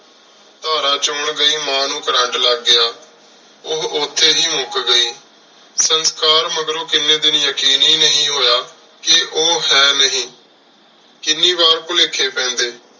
ਤਰ੍ਰਾਂ ਚੋਣ ਗਈ ਮਾਂ ਨੂ ਛੁਰ੍ਰੇੰਟ ਲਾਗ ਗਯਾ ਓਹ ਓਥੀ ਹੇ ਮੁੱਕ ਗਈ ਸੰਸਕਾਰ ਮਗਰੋਂ ਕੀਨੀ ਦਿਨ ਯਕੀਨ ਹੇ ਨਹੀ ਹੋਯਾ ਕ ਓਹੋ ਹੈ ਹੇ ਨੀ ਕਿੰਨੀ ਵਾਰ ਪੁਲੇਖ੍ਯ ਪੇੰਡੀ